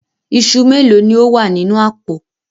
Iṣu méèló ni ó wà nínú àpò?